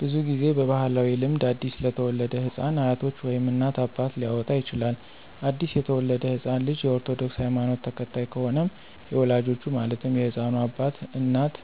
ብዙ ጊዜ በባህላዊ ልምድ አዲስ ለተወለደ ህፃን አያቶች ወይም እናት፣ አባት ሊያወጣ ይችላል። አዲስ የተወለደው ህፃን ልጅ የ ኦርቶዶክስ ሀይማኖት ተከታይ ከሆነም የወላጆቹ ማለትም የህፃኑ እናት፣ አባት፣